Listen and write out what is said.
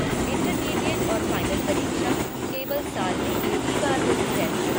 Intermediate और final परीक्षा केवल साल में एक ही बार होती है।